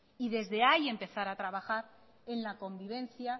y desde ahí empezar a trabajar en la convivencia